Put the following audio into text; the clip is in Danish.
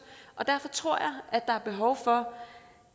og derfor tror jeg at der er behov for